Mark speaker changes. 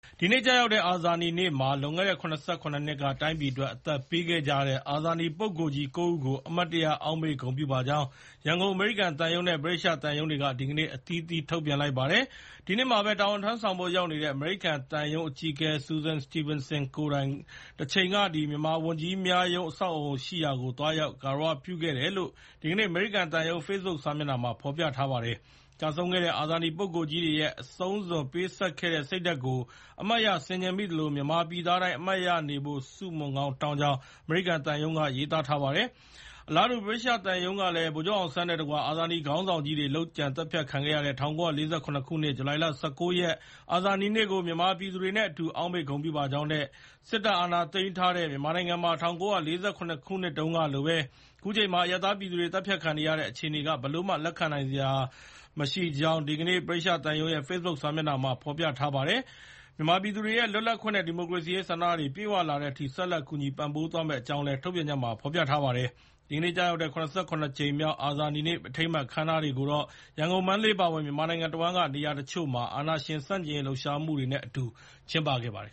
Speaker 1: ဒီနေ့ ကျရောက်တဲ့ အာဇာနည်နေ့မှာ လွန်ခဲ့တဲ့ ၇၇ နှစ်က တိုင်းပြည်အတွက် အသက်ပေးခဲ့ကြတဲ့ အာဇာနည် ပုဂ္ဂိုလ်ကြီး ၉ ဦးကို အမှတ်ရ အောက်မေ့ ဂုဏ်ပြုပါကြောင်း ရန်ကုန် အမေရိကန်သံရုံး နဲ့ ဗြိတိသျှ သံရုံးတွေကလည်း ဒီကနေ့ အသီးအသီး ထုတ်ပြန် ပြောကပြပါတယ်။ ဒီနှစ်မှာပဲ တာဝန် ထမ်းဆောင်ဖို့ ရောက်နေတဲ့ အမေရိကန် သံရုံးအကြီးအကဲ ဆူဆန်စတီဗင်ဆင် ကိုယ်တိုင် တချိန်က မြန်မာဝန်ကြီးများရုံး အဆောက်အဦး ရှိရာကို သွားရောက်ဂါရဝ ပြုခဲ့တယ်လို့ ဒီကနေ့ အမေရိကန်သံရုံး ဖေ့စ်ဘွတ်စာမျက်နှာမှာ ဖော်ပြထားပါတယ်။ ကျဆုံးခဲ့တဲ့ အာဇာနည်ပုဂ္ဂိုလ်ကြီးတွေ ရဲ့ အဆုံးစွန် ပေးဆပ်ခဲ့တဲ့ စိတ်ဓါတ်ကို အမှတ်ရ ဆင်ခြင်မိသလို မြန်မာပြည်သားတိုင်း အမှတ်ရနေဖို့ ဆုမွန်ကောင်း တောင်းကြောင်း အမေရိကန်သံရုံးက ရေးသားထားပါတယ်။ အလားတူ ဗြိတိသျှ သံရုံးကလည်း ဗိုလ်ချုပ်အောင်ဆန်းနဲ့တကွ အာဏာနည်ခေါင်းဆောင်ကြီးတွေ လုပ်ကြံ သတ်ဖြတ် ခံခဲ့ရတဲ့ ၁၉၄၇ ခုနှစ် ဇူလိုင်လ ၁၉ ရက် အာဇာနည်နေ့ကို မြန်မာပြည်သူတွေနဲ့ အတူ အောက်မေ့ ဂုဏ်ပြုပါကြောင်း နဲ့ စစ်တပ် အာဏာသိမ်းထားတဲ့ မြန်မာနိုင်ငံမှာ ၁၉၄၇ ခုနှစ်တုန်းကလိုပဲ ခုချိန်မှာ အရပ်သားပြည်သူတွေ သတ်ဖြတ်ခံနေရတဲ့ အခြေအနေက ဘယ်လိုမှ လက်ခံနိုင်စရာ ကြောင်း ဒီကနေ့ ဗြိတိသျှသံရုံးရဲ့ Facebook စာမျက်နှာမှာ ဖော်ပြထားပါတယ်။ မြန်မာပြည်သူတွေရဲ့ လွတ်လပ်ခွင့်နဲ့ ဒီမိုကရေစီရေး ဆန္ဒတွေ ပြည့်ဝလာတဲ့အထိ ဆက်လက် ကူညီ ပံ့ပိုးပေးသွားမယ့်အကြောင်းလည်း ထုတ်ပြန်ချက်မှာ ဖော်ပြပါတယ်။ ဒီကနေ့ ကျရောက်တဲ့ ၇၇ ကြိမ်မြောက် အာဇာနည်နေ့ အထိမ်းအမှတ် အခမ်းအနားတွေကို ရန်ကုန်၊ မန္တလေး အပါအဝင် မြန်မာနိုင်ငံတဝန်းက နေရာတချို့မှာ အာဏာရှင် ဆန့်ကျင်ရေး လှုပ်ရှားမှုတွေနဲ့ အတူ ကျင်းပခဲ့ကြပါတယ်